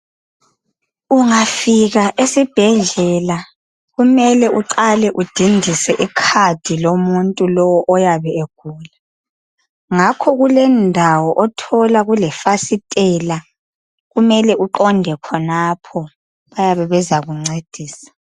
Ungafika esibhedlela kumele uqale udindise icard lomuntu lowo oyabe egula ngakho kulendawo othola kulefasitela kumele uqonde khonapho bayabe bezakuncedisa.